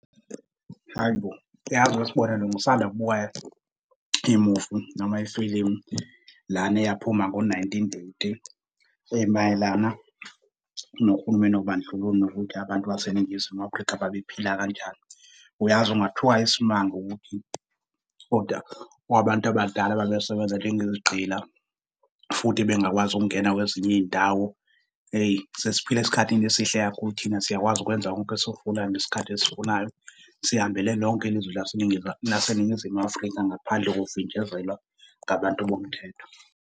Hhayi bo! Uyazi weSibonelo ngisanda kubukela imuvi, noma ifilimu lana esaphuma ngo-1980 emayelana nohulumeni wobandlululo, nokuthi abantu baseNingizimu Afrika babephila kanjani. Uyazi ungathuka isimanga ukuthi kodwa abantu abadala babesebenza njengezigqila, futhi bengakwazi ukungena kwezinye iy'ndawo. Eyi, sesiphila esikhathini esihle kakhulu thina siyakwazi ukwenza konke esikufunayo ngesikhathi esifunayo, sihambele lonke ilizwe lase laseNingizimu Afrika ngaphandle kokuvinjezelwa ngabantu bomthetho.